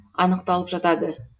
анықталып жатады